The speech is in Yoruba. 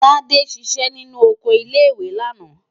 Tádé ṣiṣẹ́ nínú oko ilé-ìwé lánàá.